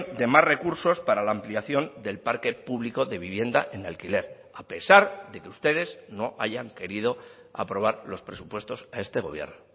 de más recursos para la ampliación del parque público de vivienda en alquiler a pesar de que ustedes no hayan querido aprobar los presupuestos a este gobierno